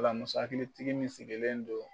O la muso hakili tigi min sigilen don